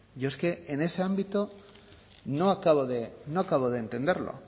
yo es que en ese ámbito no acabo de entenderlo